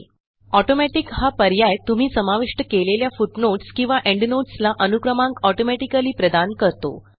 Automaticहा पर्याय तुम्ही समाविष्ट केलेल्या फुटनोट्स किंवा एंडनोट्स ला अनुक्रमांक ऑटोमॅटिकली प्रदान करतो